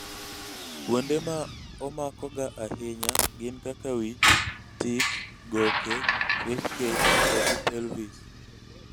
kuonde ma omakoga ahinya gin kaka wich, tik, goke, rib cage to gi pelvis